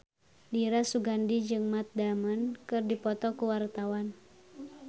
Dira Sugandi jeung Matt Damon keur dipoto ku wartawan